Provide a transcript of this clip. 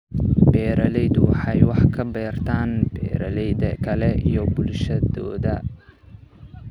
Beeraleydu waxay wax ka bartaan beeralayda kale iyo bulshadooda.